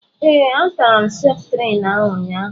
Ee, a tara m septrin ahụ ụnyaahụ.